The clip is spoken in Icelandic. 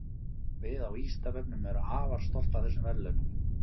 Við á Vísindavefnum erum afar stolt af þessum verðlaunum.